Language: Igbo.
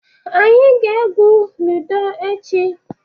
Anyị ga-egwu lidọ echi.